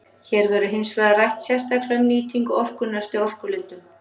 Hér verður hins vegar rætt sérstaklega um nýtingu orkunnar eftir orkulindum.